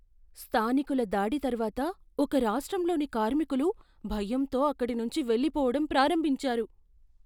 స్థానికుల దాడి తర్వాత ఒక రాష్ట్రంలోని కార్మికులు భయంతో అక్కడినుంచి వెళ్లిపోవడం ప్రారంభించారు.